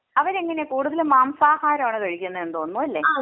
അവരെങ്ങനെയ കൂടുതൽ മാംസാഹാരം ആണ് കഴിക്കുന്നത് എന്ന് തോന്നുന്നു അല്ലേ?